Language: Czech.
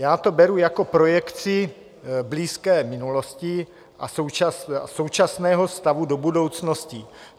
Já to beru jako projekci blízké minulosti a současného stavu do budoucnosti.